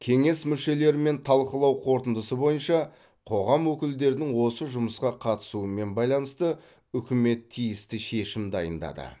кеңес мүшелерімен талқылау қорытындысы бойынша қоғам өкілдерінің осы жұмысқа қатысуымен байланысты үкімет тиісті шешім дайындады